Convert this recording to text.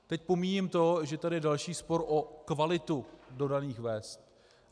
Teď pomíjím to, že je tady další spor o kvalitu dodaných vest.